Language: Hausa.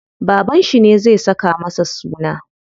Babanshi ne zai saka masa suna.